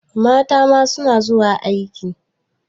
Mata ma suna zuwa aiki.